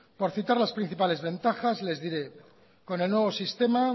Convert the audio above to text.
por citar las principales ventajas les diré que con el nuevo sistema